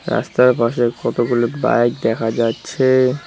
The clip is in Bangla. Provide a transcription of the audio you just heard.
রাস্তার পাশে কতগুলো বাইক দেখা যাচ্ছে।